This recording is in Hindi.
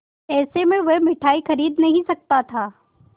ऐसे में वह मिठाई खरीद नहीं सकता था